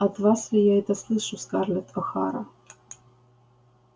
от вас ли я это слышу скарлетт охара